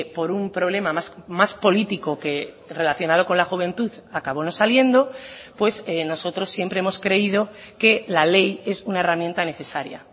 por un problema más político que relacionado con la juventud acabó no saliendo pues nosotros siempre hemos creído que la ley es una herramienta necesaria